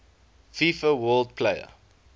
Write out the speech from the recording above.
fifa world player